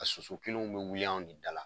A soso kelenw be wuli an de dala.